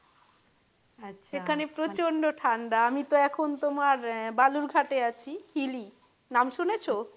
এখানে প্রচণ্ড ঠাণ্ডা আমি তো এখন তোমার বালুর ঘাটে আছি নাম শুনেছ?